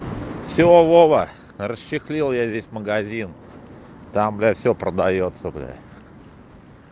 все вова расчехлил я здесь магазин там блять все продаётся блять